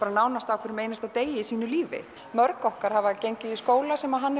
nánast á hverjum einasta degi í sínu lífi mörg okkar hafa gengið í skóla sem hann